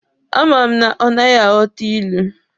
A ma m na ọ naghị aghọta ilu.